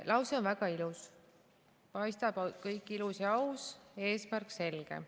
Lause on väga ilus, paistab kõik ilus ja aus, eesmärk selge.